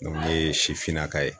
ne ye sifinnaka ye.